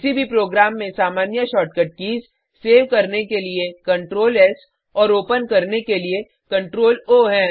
किसी भी प्रोग्राम में सामान्य शॉर्टकट कीज़ सेव करने के लिए CtrlS और ओपन करने के लिए CtrlO हैं